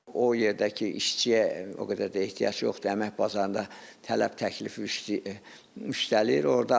O yerdə ki, işçiyə o qədər də ehtiyac yoxdur, əmək bazarında tələb təklif üştəliyir.